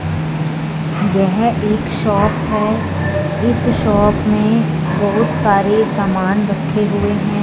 यह एक शॉप है इस शॉप में बहुत सारे समान रखे हुए हैं।